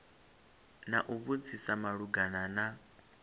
na u vhudzisa malugana na